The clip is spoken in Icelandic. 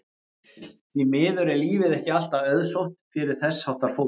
Því miður er lífið ekki alltaf auðsótt fyrir þess háttar fólk.